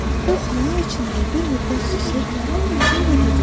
O xəyal içində bir müddət susub, sonra dedi.